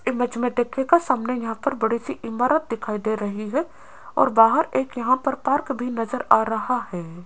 Image में देखिएगा सामने यहां पर बड़ी सी इमारत दिखाई दे रही है और बाहर एक यहां पर पार्क भी नजर आ रहा है।